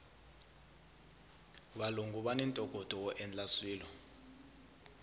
valungu vani ntokoto woendla swilo